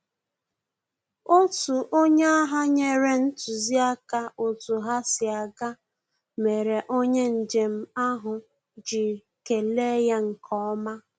Otu onye agha nyere ntụziaka otu ha si aga, mere onye njem ahụ ji kele ya nkeọma